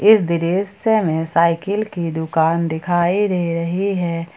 इस दृश्य में साइकिल की दुकान दिखाई दे रही है।